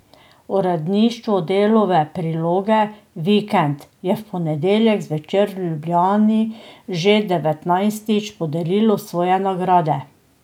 Uredništvo Delove priloge Vikend je v ponedeljek zvečer v Ljubljani že devetnajstič podelilo svoje nagrade.